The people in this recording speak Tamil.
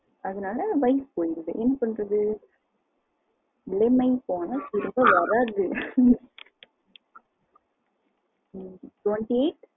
அதனால life போயிருது என்ன பண்றது இளமை போனால் திரும்ப வரது twenty eight